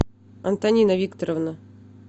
антонина викторовна